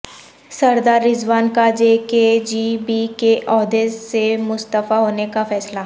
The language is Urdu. سردار رضوان کا جے کے جی بی کے عہدے سے مستعفی ہونے کا فیصلہ